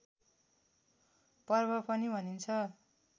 पर्व पनि भनिन्छ